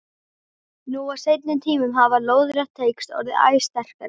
Nú á seinni tímum hafa lóðrétt tengsl orðið æ sterkari.